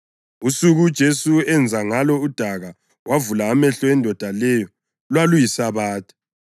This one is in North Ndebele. Usuku uJesu enza ngalo udaka wavula amehlo endoda leyo lwaluyiSabatha.